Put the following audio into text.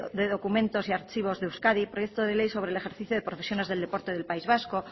de ley de documentos y archivos de euskadi proyecto de ley sobre el ejercicio de profesiones del deporte del país vasco